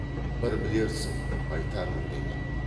бір білерсің айтармын деген